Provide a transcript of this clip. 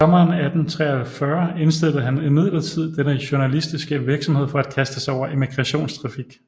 Sommeren 1843 indstillede han imidlertid denne journalistiske virksomhed for at kaste sig over emigrationstrafik